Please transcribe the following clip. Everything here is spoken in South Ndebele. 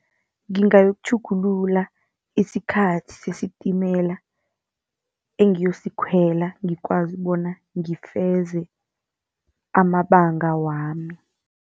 Ngingayokutjhugulula isikhathi sesitimela engiyosikhwela, ngikwazi bona ngifeze amabanga wami.